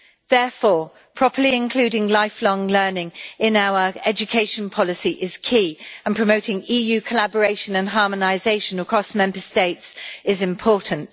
Therefore, properly including lifelong learning in our education policy is key, and promoting EU collaboration and harmonisation across Member States is important.